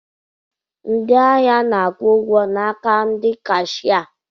Ndịahia na-akwụ ụgwọ n'aka ndị kashia.